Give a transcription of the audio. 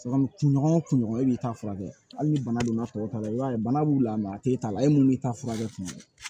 kun ɲɔgɔn o kun ɲɔgɔn e b'i ta furakɛ hali ni bana donna tɔw la i b'a ye bana b'u la a tɛ ta'a la e mun b'i ta furakɛ kuma min na